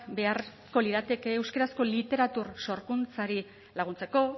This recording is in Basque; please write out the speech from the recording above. beharko lirateke euskarazko literatura sorkuntzari laguntzeko